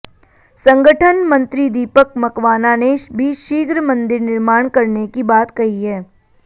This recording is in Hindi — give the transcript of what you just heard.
संगठन मंत्री दीपक मकवाना ने भी शीघ्र मंदिर निर्माण करने की बात कही है